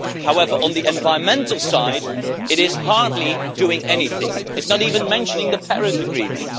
However, on the environmental side it hardly does anything it does not even mention the Paris Agreement.